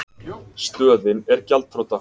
Stöðin er gjaldþrota.